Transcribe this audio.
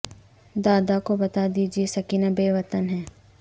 دادا کو بتا دیجے سکینہ بے وطن ہے